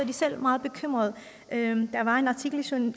de selv meget bekymrede der var en artikel